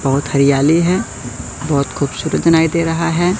बहुत हरियाली है बहोत खूबसूरत दूनाई दे रहा है।